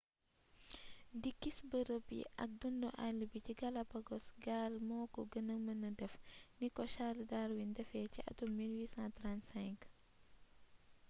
di gis bërëb yi ak dundu all bi ci galapogos gaal moko gëna mënee def niko charles darwin défé ci atum 1835